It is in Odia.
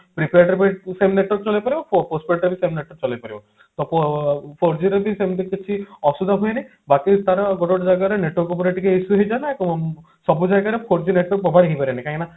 network ରେ ବି two cell network ଚଲେଇ ପାରିବ postpaid ରେ ବି same network ଚଲେଇ ପାରିବ ତ ଫ four G ରେ ବି ସେମତି ଅସୁବିଧା ହୁଏନି ବାକି ତାର ଗୋଟେ ଗୋଟେ ଜାଗାରେ network ଉପରେ ଟିକେ issue ହେଇଥାଏ ନା suppose ଜାଗାରେ four G network cover ହେଇ ପାରେନି